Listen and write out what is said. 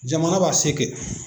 Jamana b'a se kɛ